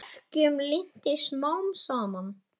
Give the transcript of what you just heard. Verkjum linnti smám saman.